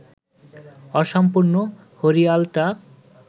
অসম্পূর্ণ হরিয়ালটা